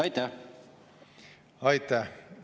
Aitäh!